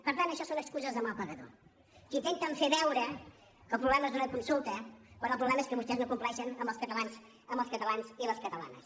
per tant això són excuses de mal pagador que intenten fer veure que el problema és d’una consulta quan el problema és que vostès no compleixen amb els catalans i les catalanes